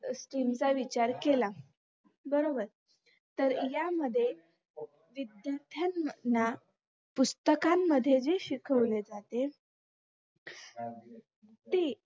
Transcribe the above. गोष्टींचा विचार केला बरबोर तर यामध्ये विद्यार्थ्यांना पुस्तकांमध्ये ही शिकवले जाते ते